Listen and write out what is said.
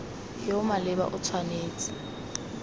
yo o maleba o tshwanetse